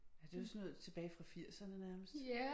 Ja det jo sådan noget tilbage fra firserne nærmest